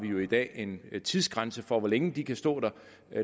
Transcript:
jo i dag en tidsgrænse for hvor længe de kan stå der